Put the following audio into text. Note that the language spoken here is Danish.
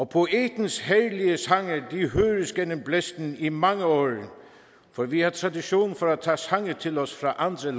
poetens herlige sange vil høres gennem blæsten i mange år for vi har tradition for at tage sange til os fra andre